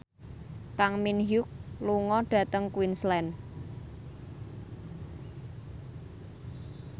Kang Min Hyuk lunga dhateng Queensland